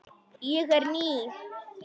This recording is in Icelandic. Ég er ný.